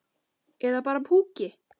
Eða bara púki.